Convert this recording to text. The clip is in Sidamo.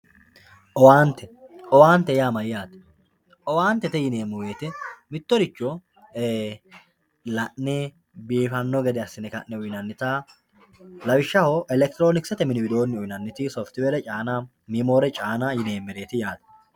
Owante owaante yaa mayate owantete yinemo woyite mitoricho ee la`ne biifano gede asine kane uyinanita lawishaho electronksete mini widooni uyinaniti softwere caana miimore caana yinemeret yaate